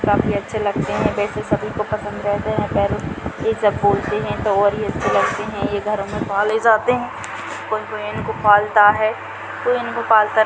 काफी अच्छे लगते हैं वैसे सभी को पसंद रहते है पैरोट को ये सब बोलते हैं तो और भी अच्छे लगते हैं ये घर में पाले जाते हैं कोई-कोई इनको पालता है कोई इनको पालता नहीं-- --